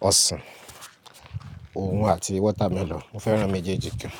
ọsàn, òun àti watermelon, mo fẹ́ràn méjèèjì gan.